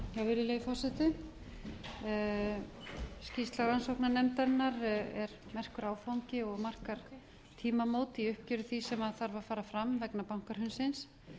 virðulegi forseti skýrsla rannsóknarnefndarinnar er merkur áfangi og markar tímamót í uppgjöri því sem þarf að fara fram vegna bankahrunsins